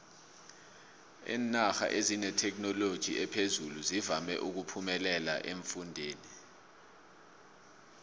iinarha ezinethekhinoloji ephezulu zivama uphemelela eemfundeni